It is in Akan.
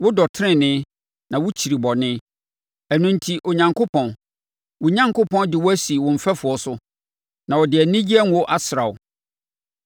Wodɔ tenenee na wokyiri bɔne. Ɛno enti Onyankopɔn, wo Onyankopɔn de wo asi wo mfɛfoɔ so, na ɔde anigyeɛ ngo asra wo.